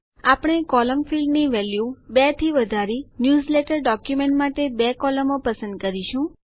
આપણે column field ની value 2 થી વધારી ન્યૂઝલેટર ડોક્યુમેન્ટ માટે બે કોલમો પસંદ કરીશું